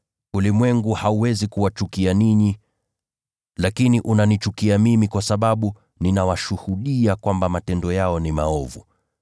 Ulimwengu hauwezi kuwachukia ninyi, lakini unanichukia mimi kwa sababu ninawashuhudia kwamba matendo yao ni maovu.